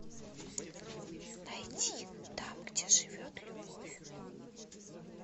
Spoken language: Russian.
найти там где живет любовь